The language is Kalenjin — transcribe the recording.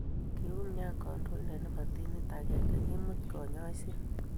Kiumian kantointe ne bo timit akenge kemut kanyoise.